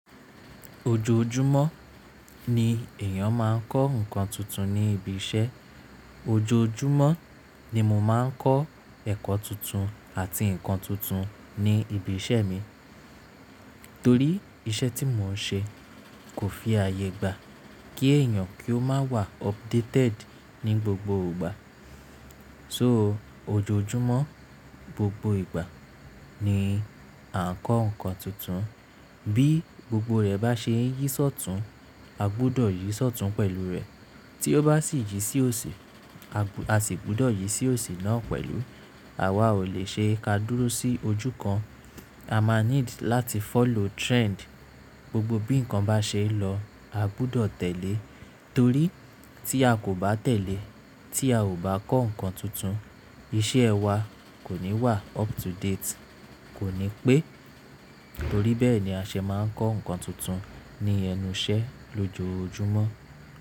Ojoojumọ ni èèyàn máa ń kọ́ nǹkan tuntun ní ibi iṣẹ́. Ojoojúmọ́ ni mo máa ń kọ́ ẹ̀kọ́ tuntun àti nǹkan tuntun ní ibi iṣẹ́ mi, torí iṣẹ́ tí mò ń ṣe kò fi àyè gba kí èèyàn kí ó má wà updated ní gbogbo ìgbà. So ojoojúmọ́ gbogbo ìgbà ni a ń kọ́ nǹkan tuntun bí gbogbo rẹ̀ bá ṣe ń yí sọ́tun, a gbúdọ̀ yí sọ́tun pẹ̀lú rẹ̀, tí ó bá sì yí sí òsì, a sì gbúdọ̀ yí sí òsì náà pẹ̀lú. Àwa ò lè ṣe ká dúró sí ojú kan, a máa need láti follow trend. Gbogbo bí nǹkan bá ṣe lọ, a gbúdọ̀ tẹ̀lé torí tí a kò bá tẹ̀lé, tí a ò bá kọ́ nǹkan tuntun iṣẹ́ wa kò ní wà up to date. Kò ní pé torí bẹ́ẹ̀ ni a ṣe máa ń kọ́ nǹkan tuntun ní ẹnu iṣẹ́ lójoojúmọ́.